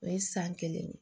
O ye san kelen ye